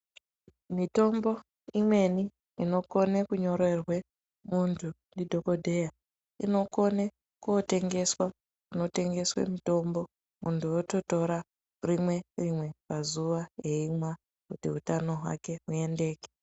Mitombo imweni inokone kunyorerwe muntu ndidhokodheya ,inokone kootengeswa kunotengeswe mitombo, Muntu ototora rimwe-rimwe pazuwa eimwa, kuti utano hwake huendeke.